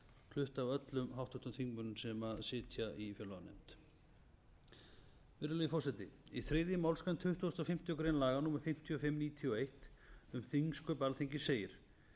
flutt af öllum háttvirtum þingmönnum sem sitja í fjárlaganefnd virðulegi forseti í þriðju málsgrein tuttugustu og fimmtu grein laga númer fimmtíu og fimm nítján hundruð níutíu og eitt um þingsköp alþingis segir